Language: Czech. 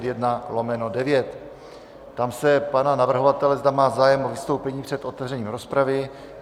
Ptám se pana navrhovatele, zda má zájem o vystoupení před otevřením rozpravy.